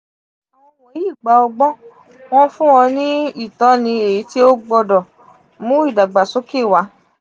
awọn wọnyi gba ọgbọ́n; wọn fun ọ ni itọni eyiti o gbọdọ mu idagbasoke wa.